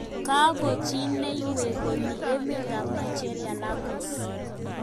Kakochineiywek ko mi emet ab Nigeria lagos.